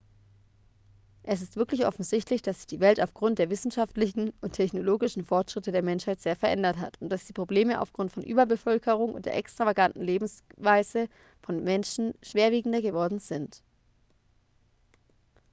es ist wirklich offensichtlich dass sich die welt aufgrund der wissenschaftlichen und technologischen fortschritte der menschheit sehr verändert hat und dass die probleme aufgrund von überbevölkerung und der extravaganten lebensweise der menschen schwerwiegender geworden sind